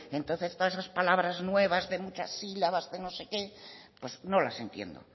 entonces todas esas palabras nuevas de muchas silabas de no sé qué pues no las entiendo